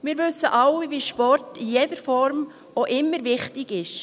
Wir wissen alle, wie Sport in jeder Form auch immer wichtig ist.